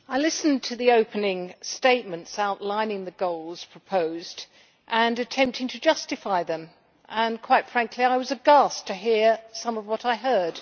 Madam President, I listened to the opening statements outlining the goals proposed and attempting to justify them. Quite frankly, I was aghast to hear some of what I heard.